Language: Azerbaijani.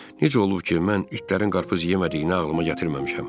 Necə olub ki, mən itlərin qarpız yemədiyini ağlıma gətirməmişəm?